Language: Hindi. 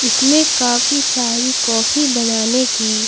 इसमें काफी सारी कॉफी बनाने की--